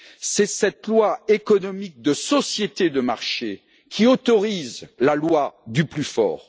C'est cette loi économique de société de marché qui autorise la loi du plus fort.